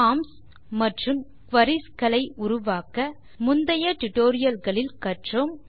forms மற்றும் queries களை உருவாக்க முந்தைய tutorialகளில் கற்றோம்